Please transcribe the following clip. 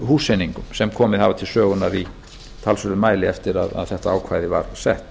húseiningum sem komið hafa til sögunnar í talsverðum mæli eftir að þetta ákvæði var sett